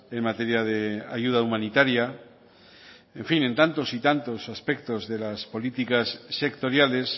en materia de ayuda humanitaria en fin en tantos y tantos aspectos de las políticas sectoriales